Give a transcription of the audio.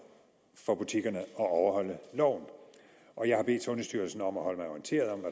for butikkerne at overholde loven og jeg har bedt sundhedsstyrelsen om at holde mig orienteret om